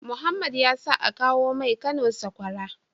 Mohammed yasa akawo mai Kano sakwara